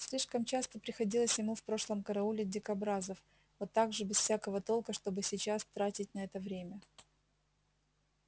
слишком часто приходилось ему в прошлом караулить дикобразов вот так же без всякого толка чтобы сейчас тратить на это время